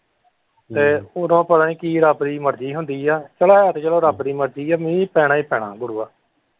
ਤੇ ਉੱਦੋਂ ਪਤਾ ਨਹੀਂ ਕੀ ਰੱਬ ਦੀ ਮਰਜ਼ੀ ਹੁੰਦੀ ਹੈ ਚੱਲੋ ਹੈ ਤੇ ਚੱਲੋ ਰੱਬ ਦੀ ਮਰਜ਼ੀ ਹੈ ਮੀਹਂ ਪੈਣਾ ਹੀ ਪੈਣਾ ਗੁਰੂਆ।